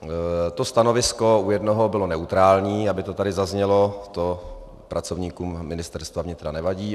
A stanovisko u jednoho bylo neutrální, aby to tady zaznělo, to pracovníkům Ministerstva vnitra nevadí.